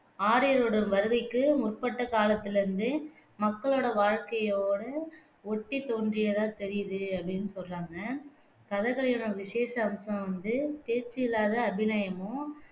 ஆரியர்களுடைய வருகைக்கு முற்பட்ட காலத்துல இருந்து மக்களோட வாழ்கையோட ஒட்டித் தோன்றியதாக தெரியுது அப்படின்னு சொல்றாங்க கதகளியோட விஷேச அம்சம் வந்து பேச்சு இல்லாத அபிநயமும்